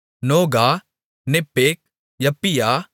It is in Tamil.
நோகா நெப்பேக் யப்பியா